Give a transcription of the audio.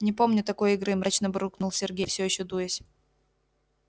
не помню такой игры мрачно буркнул сергей все ещё дуясь